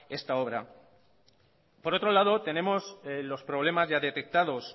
esta obra por otro lado tenemos los problemas ya detectados